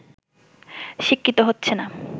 শিক্ষিত হচ্ছে না